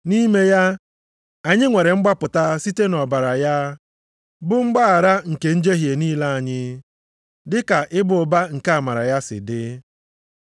Nʼime ya, anyị nwere mgbapụta site nʼọbara ya, bụ mgbaghara nke njehie niile anyị; dị ka ịba ụba nke amara ya si dị,